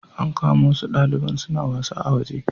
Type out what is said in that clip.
An kama wasu daliban suna wasa a waje